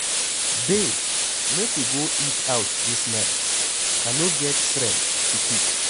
Babe make we go eat out dis night, I no get strength to cook.